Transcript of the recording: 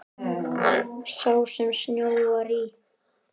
Sá sem snjóar í.